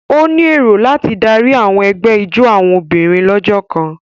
O ní èrò láti Dari àwọn egbé ijó àwọn obìnrin lójó kàn.